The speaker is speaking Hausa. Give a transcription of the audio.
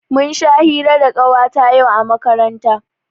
Mun sha hira da Ƙawata yau a makaranta.